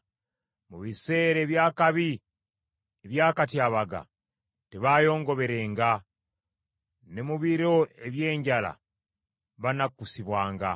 Mu biseera eby’akabi ebyakatyabaga tebaayongoberenga, ne mu biro eby’enjala banakkusibwanga.